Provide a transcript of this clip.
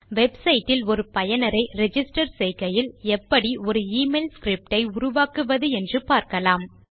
website இல் ஒரு பயனரை ரிஜிஸ்டர் செய்கையில் எப்படி ஒரு எமெயில் ஸ்கிரிப்ட் ஐ உருவாக்குவது என்று பார்க்கலாம்